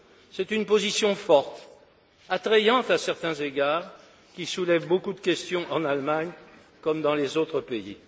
C'est une position forte, attrayante à certains égards, qui soulève beaucoup de questions en Allemagne comme dans les autres pays.